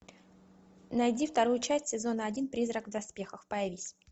найди вторую часть сезона один призрак в доспехах появись